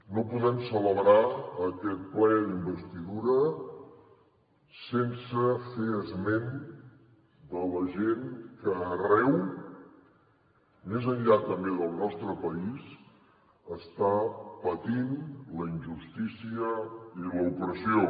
no podem celebrar aquest ple d’investidura sense fer esment de la gent que arreu més enllà també del nostre país està patint la injustícia i l’opressió